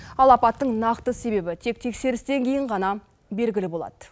ал апаттың нақты себебі тек тексерістен кейін ғана белгілі болады